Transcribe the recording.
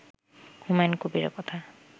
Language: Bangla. হুমায়ুন কবিরের কথা